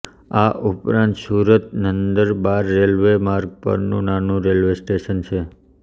આ ઉપરાંત સુરતનંદરબાર રેલ્વે માર્ગ પરનું નાનું રેલ્વે સ્ટેશન છે